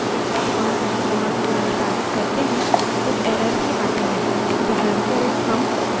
उदाहऱणस्वरूप हम cat space aaa cat space aaa type करते हैं और enter दबाते हैं